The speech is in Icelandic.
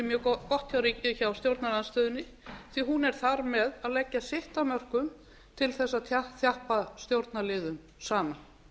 mjög gott hjá stjórnarandstöðunni því hún er þar með að leggja sitt af mörkum til að þjappa stjórnarliðum saman